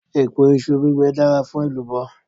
Èpo iṣu bíbẹ dára fún èlùbọ́.